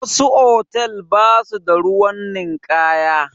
Wasu hotal ba su da ruwan ninkaya